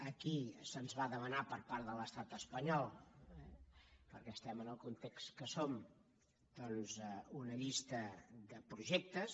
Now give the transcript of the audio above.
aquí se’ns va demanar per part de l’estat espanyol eh perquè estem en el context que som doncs una llista de projectes